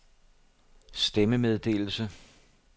stemmemeddelelse